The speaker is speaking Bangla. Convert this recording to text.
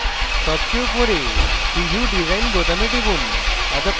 সবচেয়ে উপরে preview design বোতামে টিপুন